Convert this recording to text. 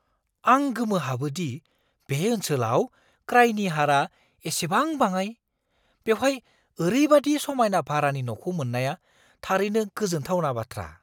आं गोमोहाबो दि बे ओनसोलाव क्राइनि हारा एसेबां बाङाइ! बेवहाय ओरैबादि समायना भारानि न'खौ मोन्नाया थारैनो गोजोनथावना बाथ्रा।